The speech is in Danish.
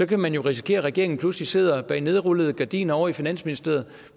kan man jo risikere at regeringen pludselig sidder bag nedrullede gardiner ovre i finansministeriet